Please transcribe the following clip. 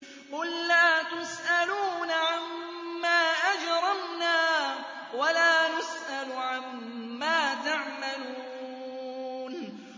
قُل لَّا تُسْأَلُونَ عَمَّا أَجْرَمْنَا وَلَا نُسْأَلُ عَمَّا تَعْمَلُونَ